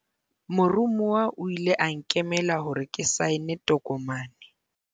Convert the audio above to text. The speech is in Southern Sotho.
moromuwa o ile a nkemela hore ke saene tokomane